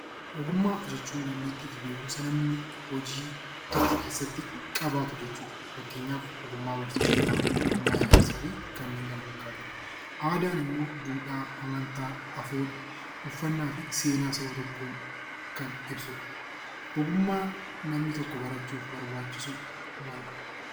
Ogummaa jechuun dandeettii fi beekumsa namni tokko jireenya keessatti qabaatu yoo ta'u, fakkeenyaaf ogummaa barsiisummaa , ijaarsaa fi kanneen kana fakkaatan aadaan immoo duudhaa, amantaa, uffannaa fi seenaa Saba tokkoo kan ibsudha. Ogummaa namni tokko barachuuf barbaachisu maalidhaa?